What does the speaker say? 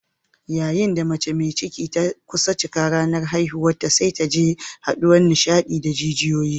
Yayin da mace mai ciki ta kusa cikar ranar haihuwarta sai ta ji haduwar nishadi da jijiyoyi.